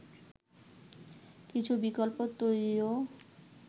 কিছু বিকল্প তৈরিরও